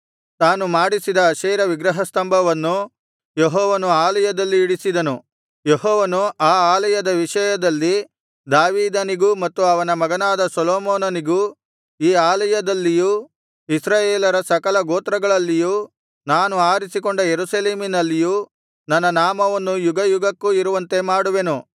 ತಾನು ಮಾಡಿಸಿದ ಅಶೇರ ವಿಗ್ರಹಸ್ತಂಭವನ್ನು ಯೆಹೋವನ ಆಲಯದಲ್ಲಿ ಇಡಿಸಿದನು ಯೆಹೋವನು ಆ ಆಲಯದ ವಿಷಯದಲ್ಲಿ ದಾವೀದನಿಗೂ ಮತ್ತು ಅವನ ಮಗನಾದ ಸೊಲೊಮೋನನಿಗೂ ಈ ಆಲಯದಲ್ಲಿಯೂ ಇಸ್ರಾಯೇಲರ ಸಕಲ ಗೋತ್ರಗಳಲ್ಲಿಯೂ ನಾನು ಆರಿಸಿಕೊಂಡ ಯೆರೂಸಲೇಮಿನಲ್ಲಿಯೂ ನನ್ನ ನಾಮವನ್ನು ಯುಗಯುಗಕ್ಕೂ ಇರುವಂತೆ ಮಾಡುವೆನು